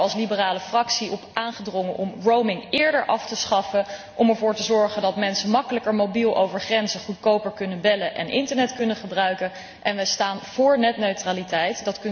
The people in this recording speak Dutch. Wij hebben er als Liberale Fractie op aangedrongen om eerder af te schaffen, om ervoor te zorgen dat mensen makkelijker mobiel over grenzen goedkoper kunnen bellen en internet kunnen gebruiken en wij staan voor netneutraliteit.